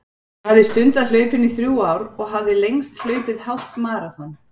Ég hafði stundað hlaupin í þrjú ár og hafði lengst hlaupið hálft maraþon.